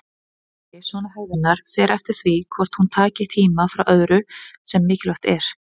Alvarleiki svona hegðunar fer eftir því hvort hún taki tíma frá öðru sem mikilvægt er.